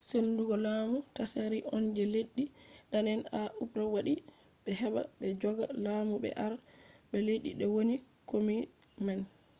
sendugo lamu tsaari on je leddi dane’en ha urop waddi heɓa ɓe joga lamu ɓe arda ba leddi woni kombi man